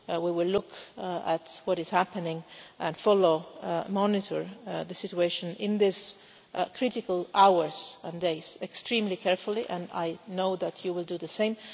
We will look at what is happening and follow and monitor the situation in these critical hours and days extremely carefully, and I know that you will do the same.